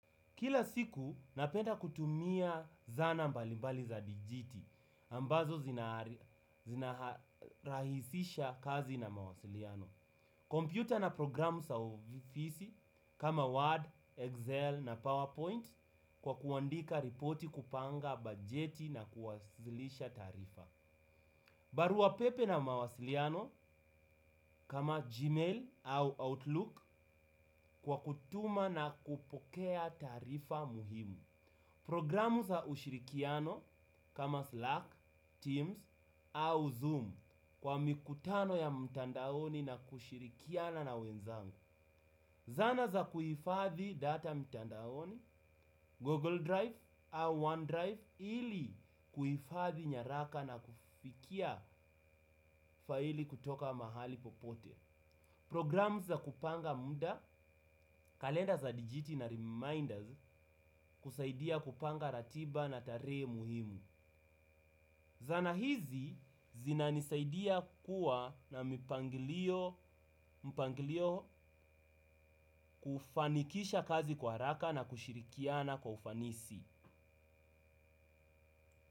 Kila siku napenda kutumia zana mbali mbali za dijiti ambazo zinarahisisha kazi na mawasiliano. Kompyuta na programu sa ofisi kama Word, Excel na PowerPoint kwa kuandika ripoti kupanga bajeti na kuwasilisha taarifa. Barua pepe na mawasiliano kama Gmail au Outlook kwa kutuma na kupokea taarifa muhimu. Programu za ushirikiano kama Slack, Teams au Zoom kwa mikutano ya mtandaoni na kushirikiana na wenzangu. Zana za kuifadhi data mtandaoni, Google Drive au OneDrive ili kuifadhi nyaraka na kufikia faili kutoka mahali popote. Programu za kupanga muda, kalenda za digiti na reminders kusaidia kupanga ratiba na tarehe muhimu. Zana hizi zina nisaidia kuwa na mpangilio kufanikisha kazi kwa haraka na kushirikiana kwa ufanisi.